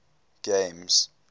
games